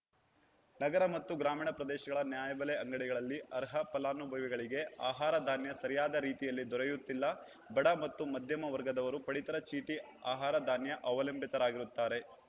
ನಗರ ಮತ್ತು ಗ್ರಾಮೀಣ ಪ್ರದೇಶಗಳ ನ್ಯಾಯಬೆಲೆ ಅಂಗಡಿಗಳಲ್ಲಿ ಅರ್ಹ ಫಲಾನುಭವಿಗಳಿಗೆ ಆಹಾರಧಾನ್ಯ ಸರಿಯಾದ ರೀತಿಯಲ್ಲಿ ದೊರಯುತ್ತಿಲ್ಲ ಬಡ ಮತ್ತು ಮಧ್ಯಮ ವರ್ಗದವರು ಪಡಿತರ ಚೀಟಿ ಆಹಾರ ಧಾನ್ಯ ಅವಲಂಬಿತರಾಗಿರುತ್ತಾರೆ